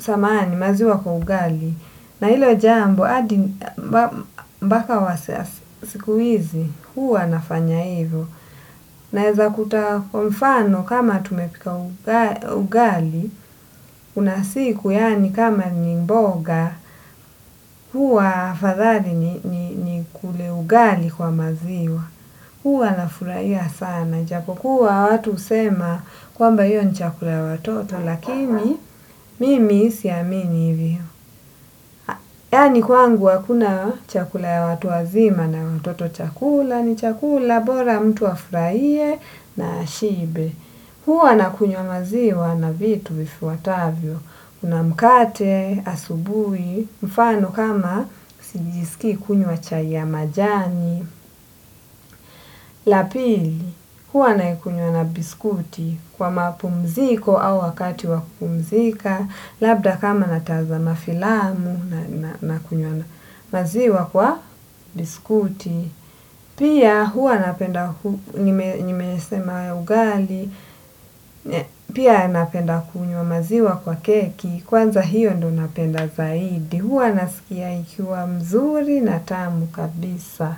Samahani maziwa kwa ugali. Na hilo jambo mpaka wasa. Siku hizi huwa nafanya hivyo. Naeza kuta kwa mfano kama tumepika ugali kuna siku yaani kama ni mboga. Huwa afadhali ni nikule ugali kwa maziwa. Huwa nafurahia sana. Japo kuwa watu husema kwamba hio ni chakula watoto lakini mimi siamini hivyo. Yaani kwangu hakuna chakula ya watu wazima na watoto chakula ni chakula bora mtu afurahie na ashibe. Huwa na kunywa maziwa na vitu vifuatavyo. Kuna mkate, asubuhi, mfano kama sijisiki kunywa chai ya majani. La pili, huwa naikunywa na biskuti kwa mapumziko au wakati wakumzika. Labda kama natazama filamu nakunywa maziwa kwa biskuti. Pia huwa napenda kunywa maziwa kwa keki. Kwanza hiyo ndio napenda zaidi. Huwa naskia ikiwa mzuri na tamu kabisa.